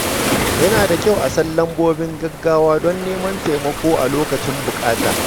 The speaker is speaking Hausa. Yana da kyau a san lambobin gaggawa don neman taimako a lokacin buƙata.